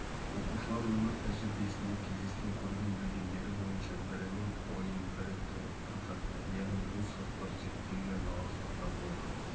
оқушылар өмір тәжірибесінде кездескен көрген-білгендері бойынша бірінің ойын бірі толықтырып жатты яғни бұл сұрақтар зерттеуге арналған сұрақтар болды